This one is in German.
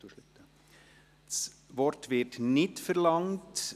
– Das Wort wird nicht verlangt.